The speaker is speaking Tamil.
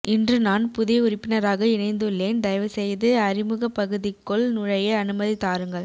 இன்று நான் புதிய உறுப்பினராக இணைந்துள்ளேன் தயவுசெய்து அறிமுகப்பகுதிக்குள் நுழைய அனுமதி தாருங்கள்